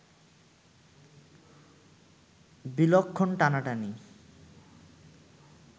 বিলক্ষণ টানাটানি